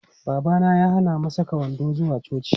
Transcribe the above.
Babana ya hana mu saka wando zuwa coci.